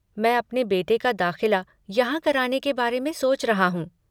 मैं अपने बेटे का दाख़िला यहाँ कराने के बारे में सोच रहा हूँ।